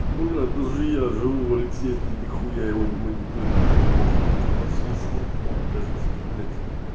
блин и даже я живу в алексеевке нехуя его не мониторю мне так похуй на это подслушано он кажется блять